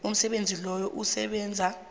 umsebenzi loyo usebenza